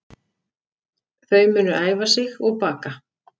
Þau munu æfa sig og baka